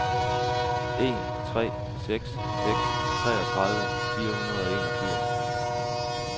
en tre seks seks treogtredive fire hundrede og enogfirs